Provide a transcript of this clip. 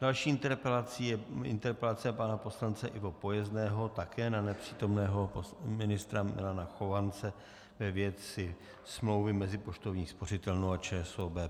Další interpelací je interpelace pana poslance Ivo Pojezného, také na nepřítomného ministra Milana Chovance ve věci smlouvy mezi Poštovní spořitelnou a ČSOB.